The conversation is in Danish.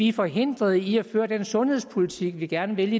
er forhindret i at føre den sundhedspolitik vi gerne vil